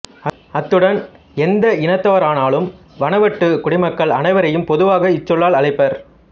அத்துடன் எந்த இனத்தவரானாலும் வனுவாட்டு குடிமக்கள் அனைவரையும் பொதுவாக இச்சொல்லால் அழைப்பர்